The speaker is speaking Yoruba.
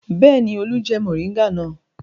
Bẹ́ẹ̀ ni, Olú jẹ mòríngà náà.